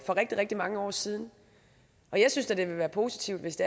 for rigtig rigtig mange år siden og jeg synes da det ville være positivt hvis